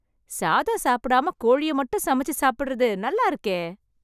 சாதம் சாப்டாம, கோழிய மட்டும் சமைச்சு சாப்டறது நல்லா இருக்கே..